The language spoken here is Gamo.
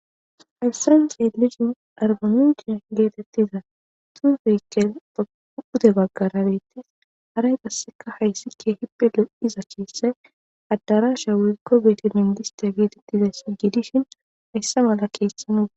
Hessan xeelishin arba mincce getetiza xuufeti pude bagara beetees. Haray qassekka hayssi keehippe lo7iza keeethay adarashay woykko bete mangistte getetizayssa gidishin hessa mala keeththa ba.